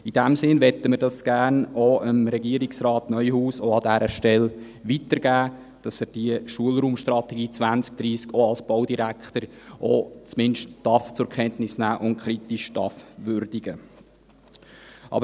In diesem Sinne möchten wir das an dieser Stelle gerne auch Regierungsrat Neuhaus weitergeben, damit er diese Schulraumstrategie 2030 auch als Baudirektor zumindest zur Kenntnis nehmen und kritisch würdigen darf.